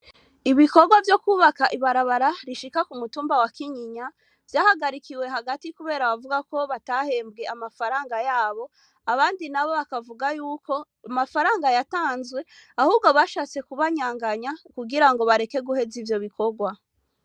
Ibikorwa vyo kwubaka ibarabara rishika ku mutumba wa Kinyinya, vyahagarikiwe hagati kubera bavuga ko batahembwe amafaranga yabo, abandi nabo bakavuga yuko amafaranga yatanzwe, ahubwo bashatse kubanyanganya kugira ngo bareke guheza ivyo bikorwa.